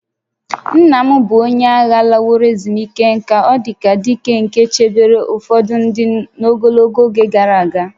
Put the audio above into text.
Nna m bụ onye agha laworo ezumike nka, ọ dị ka dike nke chebere ụfọdụ ndị n'ogologo oge gara aga